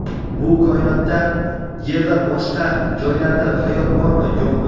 Bu koinotda Yerda boshqa joylarda hayot bormi, yo‘qmi?.